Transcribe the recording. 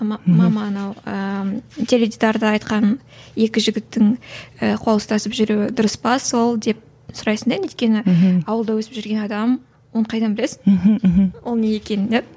мама анау ыыы теледидарда айтқан екі жігіттің ііі қол ұстасып жүруі дұрыс па сол деп сұрайсың да енді өйткені ауылда өсіп жүрген адам оны қайдан білесің мхм мхм ол не екенін иә